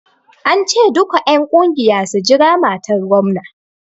An ce duka en ƙungiya su jira matar gomna!